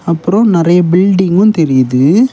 அப்புறம் நிறைய பில்டிங்க்கு தெரியுது.